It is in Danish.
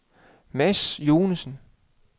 Mads Joensen